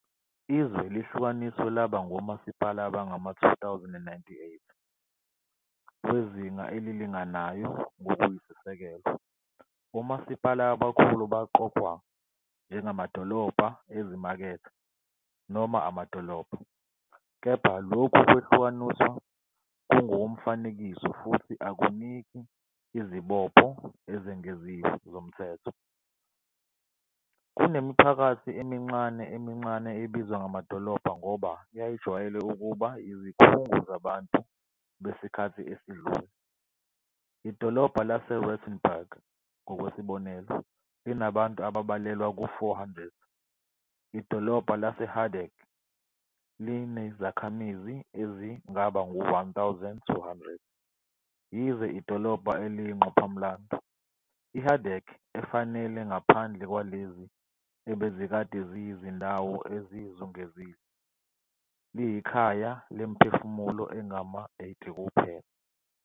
Izwe lihlukaniswe laba ngomasipala abangama-2098 wezinga elilinganayo ngokuyisisekelo. Omasipala abakhulu baqokwa njengamadolobha ezimakethe noma amadolobha, kepha lokhu kwehlukaniswa kungokomfanekiso futhi akuniki izibopho ezengeziwe zomthetho. Kunemiphakathi emincane emincane ebizwa ngamadolobha ngoba yayijwayele ukuba yizikhungo zabantu besikhathi esedlule. Idolobha laseRattenberg ngokwesibonelo linabantu ababalelwa ku-400. Idolobha laseHardegg linezakhamizi ezingaba ngu-1200, yize idolobha eliyingqophamlando - iHardegg efanele ngaphandle kwalezi ebezikade ziyizindawo ezizungezile - likhaya lemiphefumulo engama-80 kuphela.